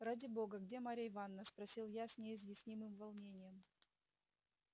ради бога где марья ивановна спросил я с неизъяснимым волнением